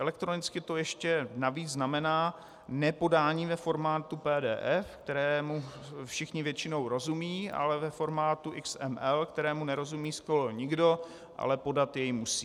Elektronicky to ještě navíc znamená nepodání ve formátu PDF, kterému všichni většinou rozumí, ale ve formátu XML, kterému nerozumí skoro nikdo, ale podat jej musí.